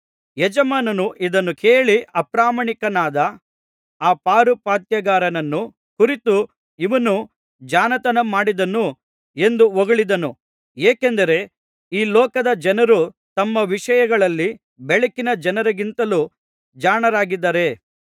ಯಜಮಾನನು ಇದನ್ನು ಕೇಳಿ ಅಪ್ರಾಮಾಣಿಕನಾದ ಆ ಪಾರುಪಾತ್ಯಗಾರನನ್ನು ಕುರಿತು ಇವನು ಜಾಣತನ ಮಾಡಿದನು ಎಂದು ಹೊಗಳಿದನು ಏಕೆಂದರೆ ಈ ಲೋಕದ ಜನರು ತಮ್ಮ ವಿಷಯಗಳಲ್ಲಿ ಬೆಳಕಿನ ಜನರಿಗಿಂತಲೂ ಜಾಣರಾಗಿದ್ದಾರೆ